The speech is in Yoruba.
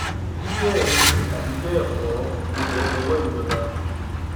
bí bẹẹ ni tàbí bẹẹ kọ gbogbo ẹ dọwọ ìjọba